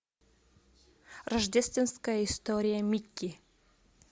рождественская история микки